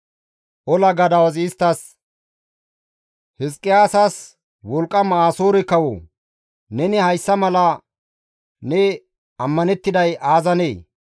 Ola gadawazi isttas, «Hizqiyaasasi, ‹Wolqqama Asoore kawo, neni hayssa mala ne ammanettiday aazanee?